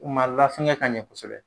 U ma lafɛŋɛ ka ɲɛ kosɛbɛ.